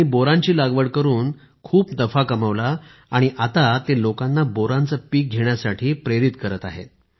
त्यांनी बोरांची लागवड करून खूप नफा कमावला आणि आता ते लोकांना बोरांचे पीक घेण्यासाठी देखील प्रेरित करत आहेत